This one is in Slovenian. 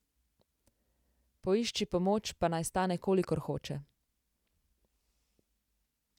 Poišči pomoč, pa naj stane, kolikor hoče.